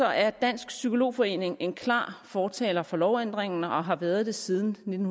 er dansk psykolog forening en klar fortaler for lovændringen og har været det siden nitten